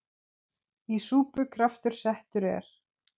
Í súpu kraftur settur er.